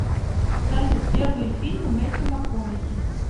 салют первые фильмы мэттью макконахи